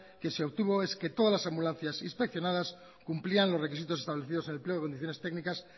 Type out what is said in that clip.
que se obtuvo es que todas las ambulancias inspeccionadas cumplían los requisitos establecidos en el pliego de condiciones técnicas